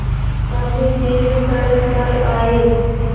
तब फिर सड़क पर आये